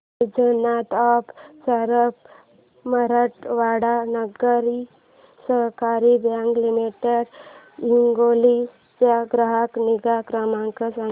वैजनाथ अप्पा सराफ मराठवाडा नागरी सहकारी bank limited Hingoli चा ग्राहक निगा क्रमांक सांगा